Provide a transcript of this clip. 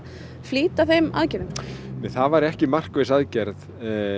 flýta þeim aðgerðum nei það væri ekki markviss aðgerð